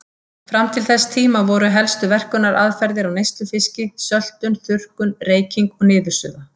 Fram til þess tíma voru helstu verkunaraðferðir á neyslufiski söltun, þurrkun, reyking og niðursuða.